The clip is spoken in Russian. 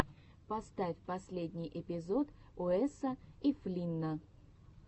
поставь последний эпизод уэса и флинна